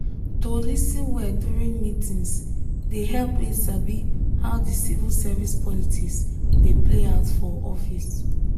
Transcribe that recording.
to lis ten well during meetings dey help me sabi how the civil service politics dey play out for office.